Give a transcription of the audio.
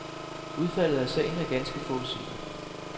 Udfaldet af sagen er ganske forudsigeligt.